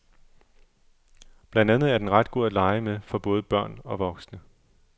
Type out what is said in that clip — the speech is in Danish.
Blandt andet er den ret god at lege med for både børn og voksne.